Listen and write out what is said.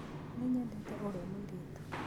Nĩnyendete ũrĩa mũirĩtu.